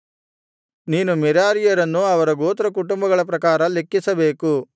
ನೀನು ಮೆರಾರೀಯರನ್ನು ಅವರ ಗೋತ್ರಕುಟುಂಬಗಳ ಪ್ರಕಾರ ಲೆಕ್ಕಿಸಬೇಕು